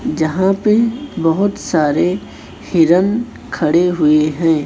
जहां पे बहोत सारे हिरण खड़े हुए हैं।